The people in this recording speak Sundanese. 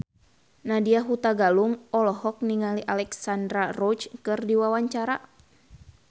Nadya Hutagalung olohok ningali Alexandra Roach keur diwawancara